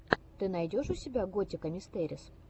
ты найдешь у себя готика мистэрис